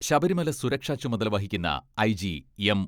ശബരിമല സുരക്ഷാ ചുമതല വഹിക്കുന്ന ഐ ജി, എം.